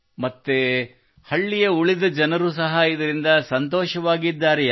ಮತ್ತು ಹಳ್ಳಿಯ ಉಳಿದ ಜನರು ಸಹ ಇದರಿಂದ ಸಂತೋಷವಾಗಿದ್ದಾರೆಯೇ